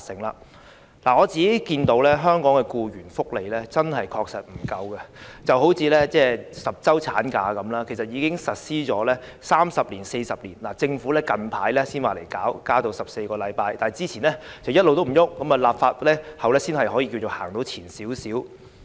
香港的僱員福利確實不足夠，就以10周產假為例，其實已實施三四十年，政府最近才提出增至14周，之前一直也沒有任何行動，立法後才可以說走前了一小步。